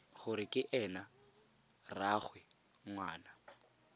gore ke ena rraagwe ngwana